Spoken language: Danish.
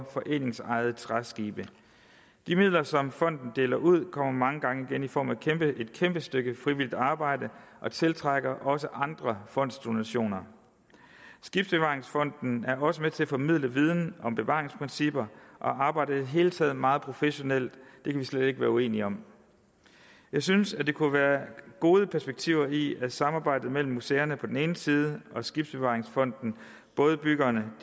foreningsejede træskibe de midler som fonden deler ud kommer mange gange igen i form af et kæmpe stykke frivilligt arbejde og det tiltrækker også andre fondsdonationer skibsbevaringsfonden er også med til at formidle viden om bevaringsprincipper og arbejder i det hele taget meget professionelt det kan vi slet ikke være uenige om jeg synes der kunne være gode perspektiver i at samarbejdet mellem museerne på den ene side og skibsbevaringsfonden bådebyggerne